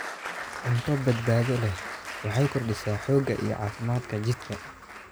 Cunto badbaado leh waxay kordhisaa xoogga iyo caafimaadka jidhka.